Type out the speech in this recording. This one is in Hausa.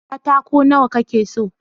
katako nawa ka ke so?